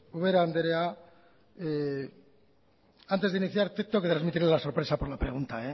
ubera andrea antes de iniciar tengo que trasmitirle la sorpresa por la pregunta